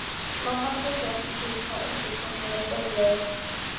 Mamma tekur eftir því hvað undirtektirnar eru dauflegar.